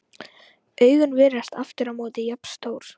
Augun virðast aftur á móti jafn stór.